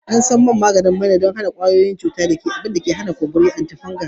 An san man maina don maganin kashe kwayoyin cuta, antifungal, da abubuwan da ke hana kumburi